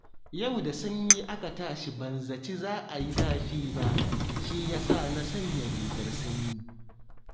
Yau da sanyi aka tashi ban zaci za a yi zafi ba, shi ya sa na sanya rigar sanyi